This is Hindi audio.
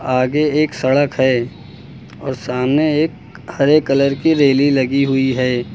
आगे एक सड़क है और सामने एक हरे कलर की रेलिंग लगी हुई है।